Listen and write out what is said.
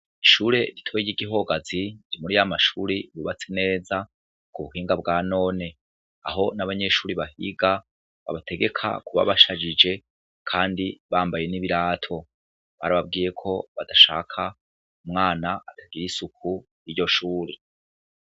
Ishure ritoyigihogazi namashure yubatse neza kubuhinga bwa none aho nabanyeshure bahiga babategeka kubabashajije kandi bambaye nibirato barababwiye ko badashaka umwana atagira isuku kuryo shure